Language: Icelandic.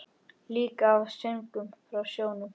Líka af söngnum frá sjónum.